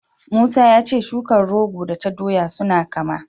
Musa ya ce shukar rogo da ta doya suna kama.